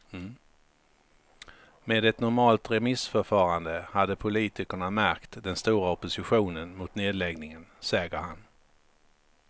Med en normalt remissförfarande hade poltikerna märkt den stora oppostionen mot nedläggningen, säger han.